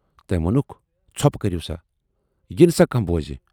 تٔمۍ وونُکھ"ژھۅپہٕ کٔرِو سا۔ یِنہٕ سا کانہہ بوزِ۔